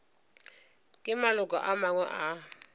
ke maloko a mangwe a